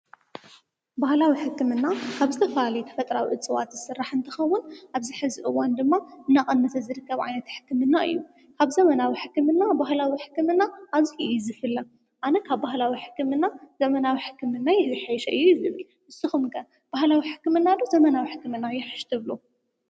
በህላዊ ሕክምና ኣብ ዝተፈላለዩ ተፈጥራዊ እፅዋት ዝስራሕ እንትኸውን ኣብዚ ሕዝ እዋን ድማ እናቐነሰ ዝርከብ ዓይነት ሕክምና እዩ፡፡ ካብ ዘመናዊ ሕክምና ባህላዊ ሕክምና ኣዙይ እዩዝፍለ፡፡ ኣነ ካብ ባህላዊ ሕክምና ዘመናዊ ሕክምና እዩ ዝሓሸ እየ ልብል ንስኹም ከ ባህላዊ ሕክምና ዶ ዘመናዊ ሕክምና ይሕሽ ትብሉ?